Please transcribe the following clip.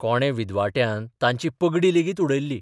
कोणे विद्वाट्यान तांची पगडी लेगीत उडयल्ली.